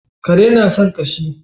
Kare na san ƙashi